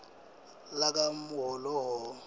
lakahhohho